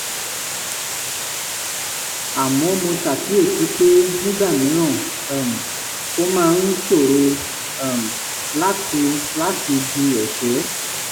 àmọ́ mo ṣàkíyèsí pé nígbà mìíràn um ó máa ń ṣòro um láti láti di ẹ̀ṣẹ́